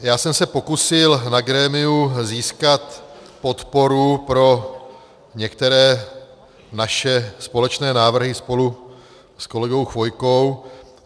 Já jsem se pokusil na grémiu získat podporu pro některé naše společné návrhy spolu s kolegou Chvojkou.